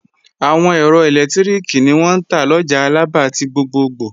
Àwọn ẹ̀rọ ẹlẹ́lẹtiriki ni wọ́n ń tà lọjà Alaba ti gbogbogbò